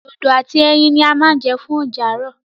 Dodo àti ẹyin ní a ma jẹ fún oúnjẹ àárọ̀.